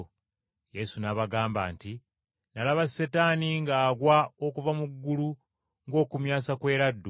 Yesu n’abagamba nti, “Nalaba Setaani ng’agwa okuva mu ggulu ng’okumyansa kw’eraddu!